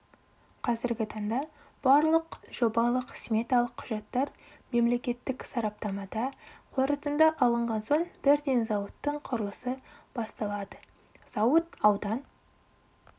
қазіргі таңда барлық жобалық-сметалық құжаттар мемлекеттік сараптамада қорытынды алынған соң бірден зауыттың құрылысы басталады зауыт аудан